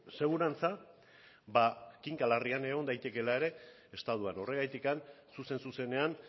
segurantza ba kinka larrian egon daitekeela ere estatuan horregatik zuzen zuzenean